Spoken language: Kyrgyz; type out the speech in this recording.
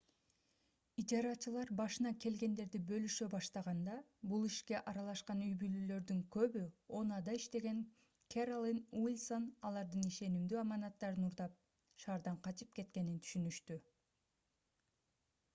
ижарачылар башына келгендерди бөлүшө баштаганда бул ишке аралашкан үй-бүлөлөрдүн көбү oha’да иштеген кэролин уилсон алардын ишенимдүү аманаттарын уурдап шаардан качып кеткенин түшүнүштү